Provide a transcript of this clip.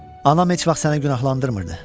Anam heç vaxt səni günahlandırmırdı.